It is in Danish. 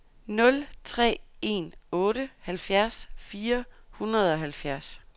nul tre en otte halvfjerds fire hundrede og halvfjerds